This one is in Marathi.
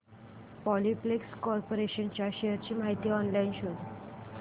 पॉलिप्लेक्स कॉर्पोरेशन च्या शेअर्स ची माहिती ऑनलाइन शोध